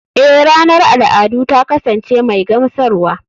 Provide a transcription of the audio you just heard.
Eh ranar al'adu ta kasance mai gamsarwa.